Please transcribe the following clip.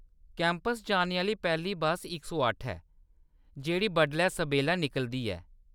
Campus जाने आह्‌‌‌ली पैह्‌ली बस्स इक सौ अट्ठ ऐ, जेह्‌‌ड़ी बड्डलै सबेल्ला निकलदी ऐ।